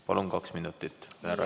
Palun, kaks minutit!